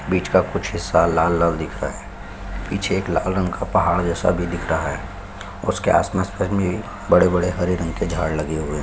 बीच का कुछ हिस्सा लाल-लाल दिख रहा है पीछे एक लाल रंग का पहाड़ जैसा भी दिख रहा है उसके आस-पास में बड़े-बड़े हरे रंग के झाड लगे हुए है ।